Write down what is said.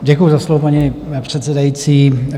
Děkuji za slovo, paní předsedající.